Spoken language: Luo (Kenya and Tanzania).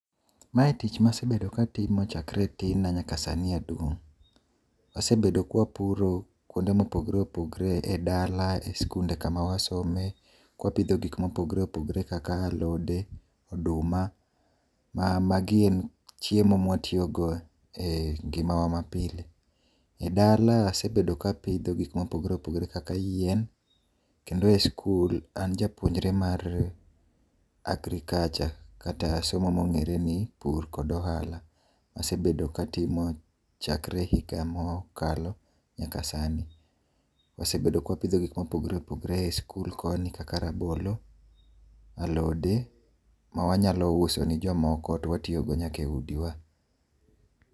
Mae tich masebedo katimo chakre e tin na nyaka sani aduong'. Asebedo kapuro kuonde mopogore opogore ,edala, e sikunde kuonde ma wasome ka wapidho gik mopogore opogore kaka alode, oduma . Magi gin chiemo ma watiyogo engimawa ma pile. Edala asebet kapidho gik mopogore opogore kaka yien, kendo e sikul an japuonjre mara agriculture kata somo mong'ere kaka pur kod ohala. Asebedo ka atime chakre higa mokalo nyaka sani. Wasebedo ka wapidho gik mopogore opogore e sikul koni kaka rabolo, alode ma wanyalo uso ni jomoko to watiyogo nyaka eudiwa.